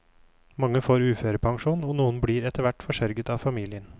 Mange får uførepensjon, og noen blir etterhvert forsørget av familien.